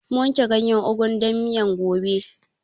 Mun wanke ganyen ugun dan miyan gobe